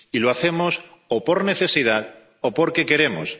Y lo hacemos o por necesidad o porque queremos.